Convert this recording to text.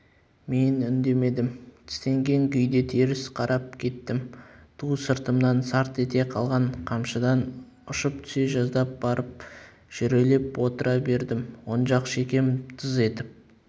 мен үндемедім тістенген күйде теріс қарап кеттім ту сыртымнан сарт ете қалған қамшыдан ұшып түсе жаздап барып жүрелеп отыра бердім оң жақ шекем тыз етіп